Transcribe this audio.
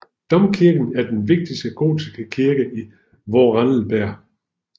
Domkirken er den vigtigste gotiske kirke i Vorarlberg